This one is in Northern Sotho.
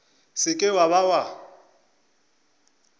se ke wa be wa